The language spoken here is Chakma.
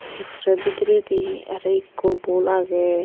ekkorey bidereydi aro ekko bol aagey.